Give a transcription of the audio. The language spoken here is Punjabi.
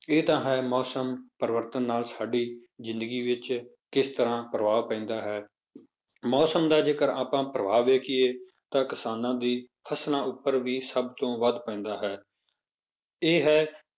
ਇਹ ਤਾਂ ਹੈ ਮੌਸਮ ਪਰਿਵਰਤਨ ਨਾਲ ਸਾਡੀ ਜ਼ਿੰਦਗੀ ਵਿੱਚ ਕਿਸ ਤਰ੍ਹਾਂ ਪ੍ਰਭਾਵ ਪੈਂਦਾ ਹੈ ਮੌਸਮ ਦਾ ਜੇਕਰ ਆਪਾਂ ਪ੍ਰਭਾਵ ਵੇਖੀਏ ਤਾਂ ਕਿਸਾਨਾਂ ਦੀ ਫਸਲਾਂ ਉੱਪਰ ਵੀ ਸਭ ਤੋਂ ਵੱਧ ਪੈਂਦਾ ਹੈ ਇਹ ਹੈ